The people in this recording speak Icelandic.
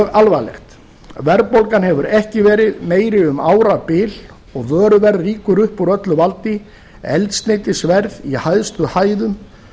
alvarlegt verðbólgan hefur ekki verið meiri um árabil og vöruverð rýkur upp úr öllu valdi eldsneytisverð í hæstu hæðum